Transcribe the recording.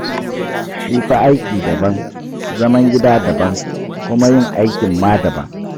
Shi fa aiki daban, zaman gida daban, kuma yin aikin ma daban.